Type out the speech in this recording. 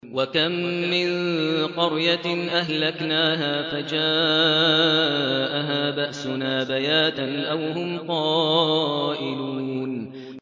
وَكَم مِّن قَرْيَةٍ أَهْلَكْنَاهَا فَجَاءَهَا بَأْسُنَا بَيَاتًا أَوْ هُمْ قَائِلُونَ